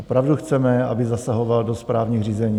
Opravdu chceme, aby zasahoval do správních řízení?